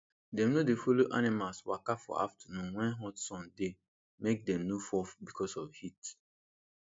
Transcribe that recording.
dem no dem no dey follow animals waka for afternoon when hot sun dey make dem no fall because of heat